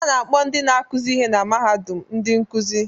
A na-akpọ ndị na-akụzi ihe na mahadum ndị nkuzi